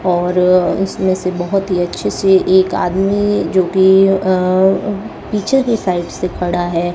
और इसमें से बहुत ही अच्छे से एक आदमी जो कि अह पीछे की साइड से खड़ा है।